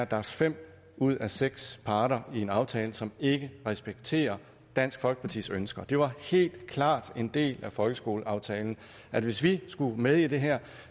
der er fem ud af seks parter i en aftale som ikke respekterer dansk folkepartis ønsker det var helt klart en del af folkeskoleaftalen at hvis vi skulle være med i det her